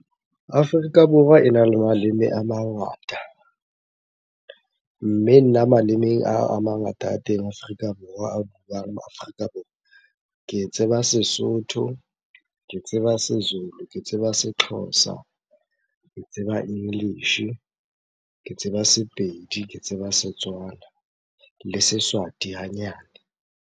Afrika Borwa ena le maleme a mangata. Mme nna malemeng ao a mangata a teng Afrika Borwa, a buang Afrika Borwa. Ke tseba Sesotho, ke tseba Sezulu, ke tseba Sexhosa, ke tseba English-e, ke tseba Sepedi, ke tseba Setswana le Seswati hanyane.